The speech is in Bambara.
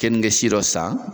Keninge si dɔ san.